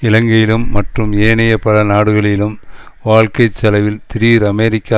இலங்கையிலும் மற்றும் ஏனைய பல நாடுகளிலும் வாழ்க்கை செலவில் திடீர் அமெரிக்க